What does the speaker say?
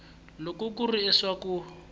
loko ku ri leswaku u